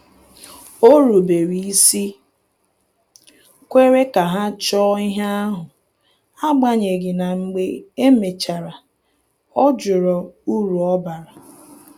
O rubere isi kwere ka ha chọọ ihe ahụ, agbanyeghi na mgbe e mechara ọ jụrụ uru ọ bara